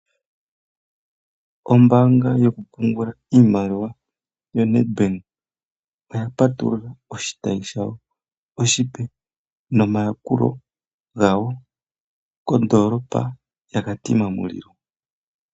Ombaanga yokupungula iimaliwa yoNedbank oya patulula oshitayi shayo oshipe nomayakulo gamwe omape kondoolopa yaKatimamulilo.